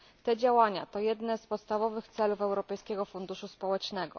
Te działania to jedne z podstawowych celów Europejskiego Funduszu Społecznego.